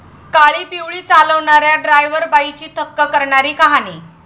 काळीपिवळी चालवणाऱ्या 'ड्रायव्हर बाई'ची थक्क करणारी कहाणी